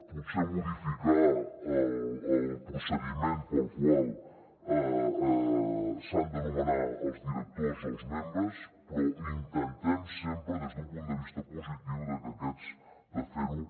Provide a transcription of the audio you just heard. potser modificar el procediment pel qual s’han de nomenar els directors o els membres però intentem sempre des d’un punt de vista positiu que aquests de fer ho